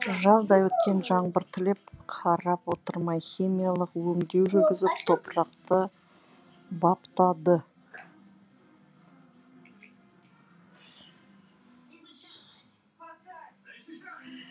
жаздай көктен жаңбыр тілеп қарап отырмай химиялық өңдеу жүргізіп топырақты баптады